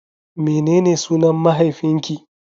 Menene sunan mahaifinki?